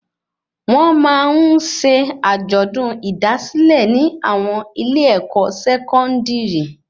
Wọn máa ń ṣe ajọdun idasilẹ ni àwọn ilé-èkó sẹkọndiri